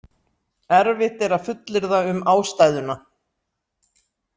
Erfitt er að fullyrða um ástæðuna.